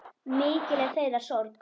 Mikil er þeirra sorg.